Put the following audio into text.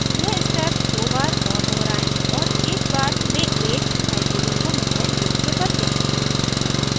यह step दो बार और दोहराएं और एक बार में एक hydrogen को methyl group से बदलें